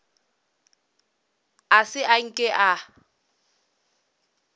a se a nke a